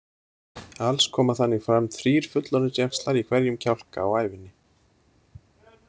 Alls koma þannig fram þrír fullorðinsjaxlar í hverjum kjálka á ævinni.